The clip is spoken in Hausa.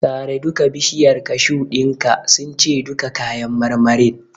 Sare duka bishiyar kashu din ka since duka kayan marmarin.